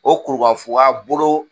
O kuru ka fuga bolo